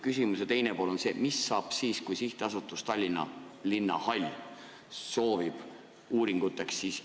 Küsimuse teine pool on see: mis saab siis, kui SA Tallinna Linnahall soovib raha uuringuteks?